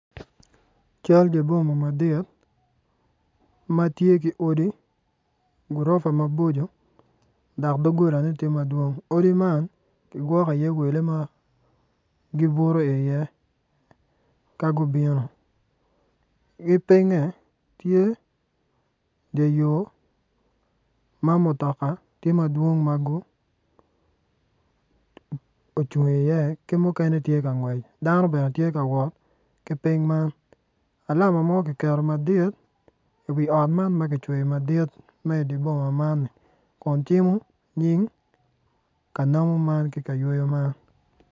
Cal dye boma madit matye ki odi gurofa ma boco dok dogolane tye madwong odi man kigwoko i iye wele ma gibuto i iye ka gubino gipinye tye dye yor ma mutoka tye madwong ma gucung i iye ki mukene tye ka ngwec dano bene tye ka wot ki piny man lama mo kiketo madit i wi ot man ma ki cweyo madit ma idye boma man kun cimo nying ka namo ki kayweyo man